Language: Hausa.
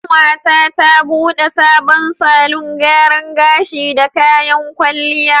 Ƙanwata ta bude sabon salon gyaran gashi da kayan kwalliya.